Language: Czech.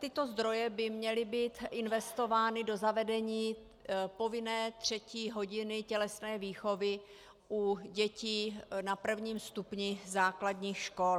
Tyto zdroje by měly být investovány do zavedení povinné třetí hodiny tělesné výchovy u dětí na prvním stupni základních škol.